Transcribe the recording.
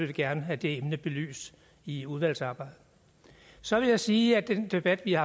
vi gerne have det emne belyst i udvalgsarbejdet så vil jeg sige at den debat vi har